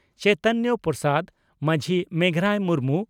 Chaitanya Prasad Majhi Meghrai Murmu